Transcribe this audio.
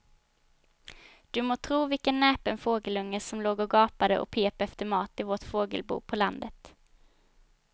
Du må tro vilken näpen fågelunge som låg och gapade och pep efter mat i vårt fågelbo på landet.